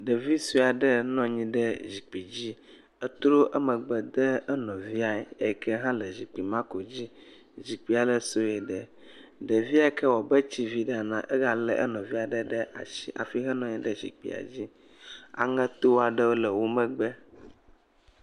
Ɖevi sue aɖe nɔ anyi ɖe zikpi dzi. Etrɔ megbe de enɔviae yi ke hã le zikpi ma ko dzi. Zikpia le sɔe le. Ɖevia yi ke wɔ abe etsi vi aɖe enea, egalé enɔvia aɖe ɖe ashi hafi henɔ anyi ɖe zikpia dzi. Aŋɛto aɖe le wo megbe.